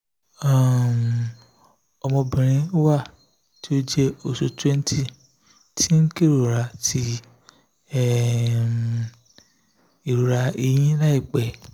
um ọmọbinrin wa ti o jẹ oṣu 20 ti n kerora ti um irora ẹhin laipẹ